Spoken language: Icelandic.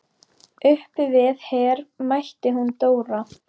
Uppi við Her mætti hún Dóra.